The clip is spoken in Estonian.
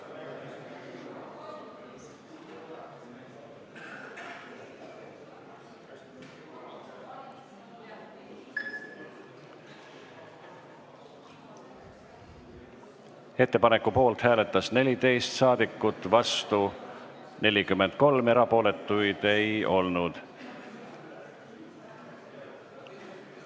Hääletustulemused Ettepaneku poolt hääletas 14 ja vastu 43 rahvasaadikut, erapooletuid ei olnud.